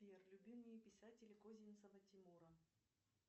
сбер любимые писатели козинцева тимура